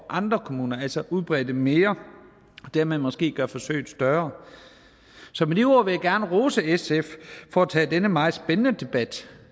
andre kommuner altså udbrede det mere og dermed måske gøre forsøget større så med de ord vil jeg gerne rose sf for at tage denne meget spændende debat